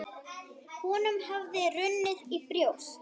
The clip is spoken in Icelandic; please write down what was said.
Honum hafði runnið í brjóst.